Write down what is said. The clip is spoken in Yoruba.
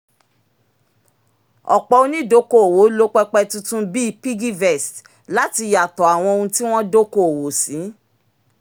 ọ̀pọ̀ onídokoowó lo pẹpẹ tuntun bíi piggyvest láti yàtọ̀ àwọn ohun tí wọ́n dokoowó sí